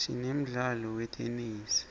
sinemdlalo wetenesi